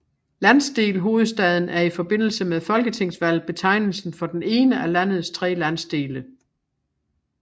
Landsdel Hovedstaden er i forbindelse med folketingsvalg betegnelsen for den ene af landets tre landsdele